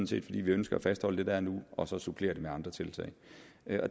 set fordi vi ønsker at fastholde det der er nu og så supplere det med andre tiltag